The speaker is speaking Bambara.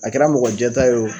A kɛra mɔgɔjɛta ye o,